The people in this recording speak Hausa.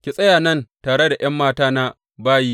Ki tsaya nan tare da ’yan matana bayi.